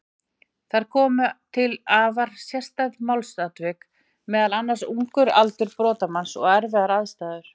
Þar komu til afar sérstæð málsatvik, meðal annars ungur aldur brotamanns og erfiðar aðstæður.